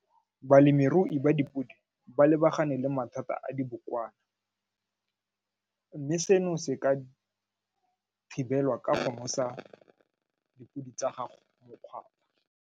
Balemirui ba dipodi ba lebagane le mathata a dibokwana mme seno se ka thibelwa ka go nosa dipodi tsa gago .